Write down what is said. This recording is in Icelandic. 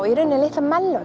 í rauninni litlar